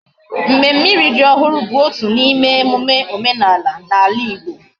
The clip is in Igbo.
Mmemme iri ji ohuru bu otu na ime emume omenala na ala Igbo